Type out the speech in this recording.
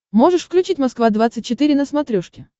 можешь включить москва двадцать четыре на смотрешке